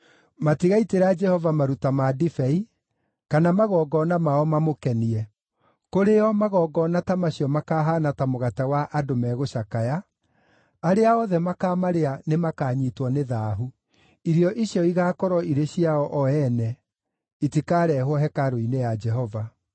Matigaitĩra Jehova maruta ma ndibei, kana magongona mao mamũkenie. Kũrĩo magongona ta macio makaahaana ta mũgate wa andũ megũcakaya; arĩa othe makaamarĩa nĩmakanyiitwo nĩ thaahu. Irio icio igaakorwo irĩ ciao o ene; itikareehwo hekarũ-inĩ ya Jehova.